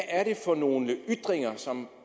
er for nogle ytringer som